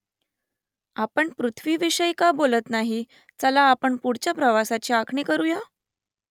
आपण पृथ्वीविषयी का बोलत नाही चला आपण पुढच्या प्रवासाची आखणी करुया ?